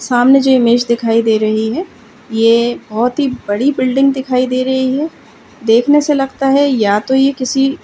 सामने जो इमेज दिखाई दे रही है ये बहोत ही बड़ी बिल्डिंग दिखाई दे रही है। देखने से लगता है या तो ये किसी --